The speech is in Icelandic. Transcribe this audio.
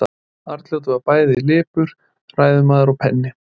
Arnljótur var bæði lipur ræðumaður og penni.